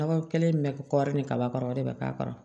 Dɔgɔ kelen min bɛ kɔɔri ni kaba kɔrɔ o de bɛ k'a kɔrɔ